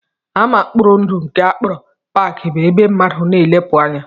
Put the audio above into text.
Ama mkpori ndụ nke a kpọrọ parks bụ ebe mmadụ na-elepụ anya